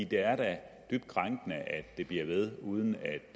det er da dybt krænkende at det bliver ved uden